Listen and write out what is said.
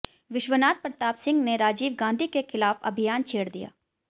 विश्वनाथ प्रताप सिंह ने राजीव गांधी के ख़िला़फ अभियान छेड़ दिया